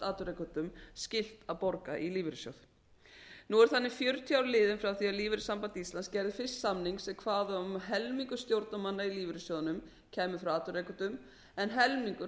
atvinnurekendum skylt að borga í lífeyrissjóð nú eru því fjörutíu ár liðin frá því að alþýðusamband íslands gerði fyrst samning sem kvað á um að helmingur stjórnarmanna í lífeyrissjóðunum kæmi frá atvinnurekendum en helmingur